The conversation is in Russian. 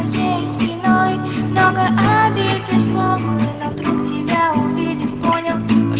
уроки так организованным понятно